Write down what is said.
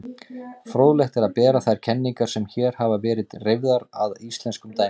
Fróðlegt er að bera þær kenningar sem hér hafa verið reifaðar að íslenskum dæmum.